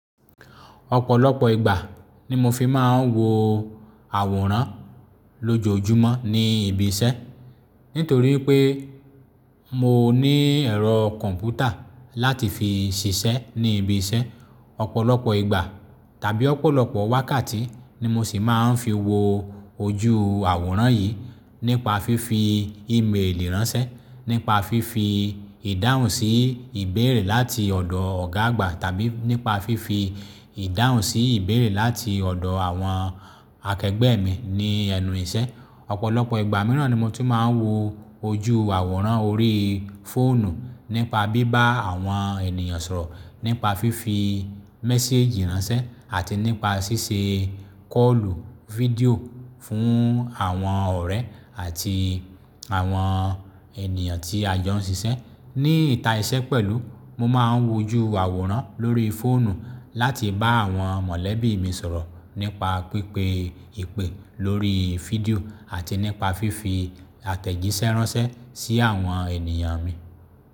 Ọ̀pọ̀lọpọ̀ ìgbà ni mo fi máa ń wo àwòrán lójojúmọ́ ní ibi iṣẹ́. Nítorí pé mo ní ẹ̀rọ kọ̀m̀pútà láti fi ṣiṣẹ́ ní ibi iṣẹ́. Ọ̀pọ̀lọpọ̀ ìgbà tàbí ọ̀pọ̀lọpọ̀ wákàtí ni mo sì máa ń fi wo ojú àwòrán yìí nípa fífi ímélì ránṣẹ́, nípa fífi ìdáhùn sí ìbéèrè láti ọ̀dọ̀ ọ̀gá àgbà tàbí nípa fífi ìdáhùn sí ìbéèrè láti ọ̀dọ̀ àwọn akẹgbẹ́ mi ní ẹnu iṣẹ́. Ọ̀pọ̀lọpọ̀ ìgbà mìíràn ni mo tún máa ń wo ojú àwòrán orí fóònù nípa bíbá àwọn ènìyàn sọ̀rọ̀, nípa fífi mẹ́séjì ránṣẹ́ àti nípa ṣíṣe kọ́ọ̀lù fídíò fún àwọn ọ̀rẹ́ àti àwọn ènìyàn tí a jọ ń ṣiṣẹ́. Ni ìta iṣẹ́ pẹ̀lú, mo máa ń wo ojú àwòrán lórí fóònù láti bá àwọn mọ̀lẹ́bí mi sọ̀rọ̀ nípa pípé ìpè lórí fídíò àti nípa fífi àtẹ̀jíṣẹ́ ránṣẹ́ sí àwọn ènìyàn mi.